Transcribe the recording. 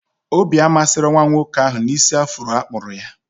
Obi amasịrọ nwa nwoke ahụ na isi afro akpụrụ ya